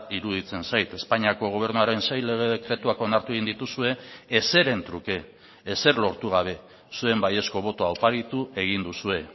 iruditzen zait espainiako gobernuaren sei lege dekretuak onartu egin dituzue ezeren truke ezer lortu gabe zuen baiezko botoa oparitu egin duzue